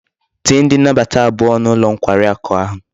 Tinye ndi nabata abuo n'ulo nkwari aku a